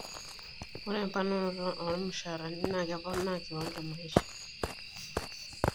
Ore emponorato ormushaarani naa keponaaa kiwango e maisha.